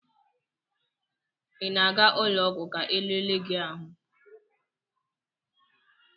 Ị na-aga ụlọ ọgwụ ka elele gi ahụ?